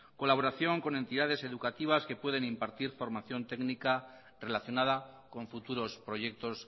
colaboración con entidades educativas que puedan impartir formación técnica relacionada con futuros proyectos